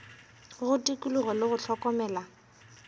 go tikologo le go hlokomela